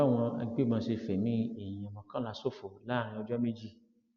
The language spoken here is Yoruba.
èyí ni báwọn agbébọn ṣe fẹmí èèyàn mọkànlá ṣòfò láàrin ọjọ méjì